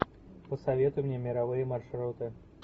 посоветуй мне мировые маршруты